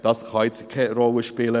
Das kann jetzt keine Rolle spielen.